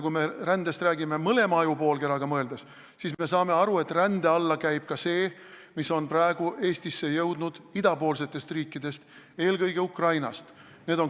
Kui me räägime rändest mõlema ajupoolkeraga mõeldes, siis me saame aru, et rände alla käib ka see, mis on praegu Eestisse jõudnud idapoolsetest riikidest, eelkõige Ukrainast.